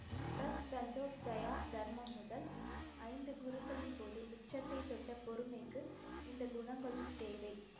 தர்மம் முதல் ஐந்து குருக்களின்போது உச்சத்தைத் தொட்ட பொறுமைக்கு இந்தக் குணங்களும் தேவை.